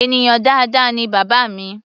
Ènìyàn dáadáa ni bàbá mi.